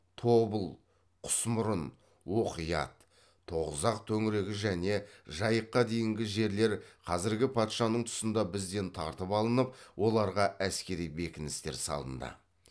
тобыл құсмұрын оқият тоғызақ төңірегі және жайыққа дейінгі жерлер қазіргі патшаның тұсында бізден тартып алынып оларға әскери бекіністер салынды